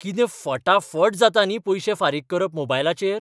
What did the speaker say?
कितें फटाफट जाता न्ही पयशे फारीक करप मोबायलाचेर!